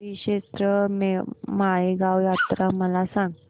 श्रीक्षेत्र माळेगाव यात्रा मला सांग